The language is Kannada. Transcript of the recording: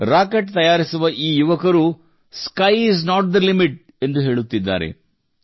ರಾಕೆಟ್ ತಯಾರಿಸುವ ಈ ಯುವಕರು sky is not the limit ಎಂದು ಹೇಳುತ್ತಿದ್ದಾರೆ